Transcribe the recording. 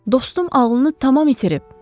Dostum ağlını tamamilə itirib.